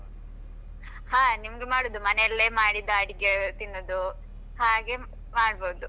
ಹಾ ನಿಮ್ದು ಮಾಡುದು ಮನೆಯಲ್ಲೇ ಮಾಡಿದ್ದ್ ಅಡಿಗೆ ತಿನ್ನುದು ಹಾಗೆ ಮಾಡ್ಬಹುದು.